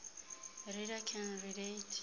reader can relate